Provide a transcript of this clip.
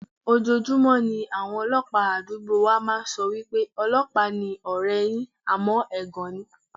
Ojoojúmọ́ ni àwọn ọlọ́pàá àdúgbò wa máa ń sọ pé, "ọlọ́pàá ni ọ̀rẹ́ẹ yín", àmọ́ ẹ̀gọ́ ni.